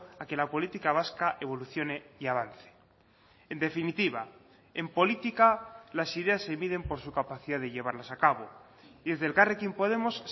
a que la política vasca evolucione y avance en definitiva en política las ideas se miden por su capacidad de llevarlas a cabo y desde elkarrekin podemos